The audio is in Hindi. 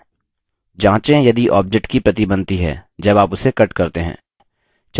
जाँचें यदि object की प्रति बनती है जब आप उसे cut करते हैं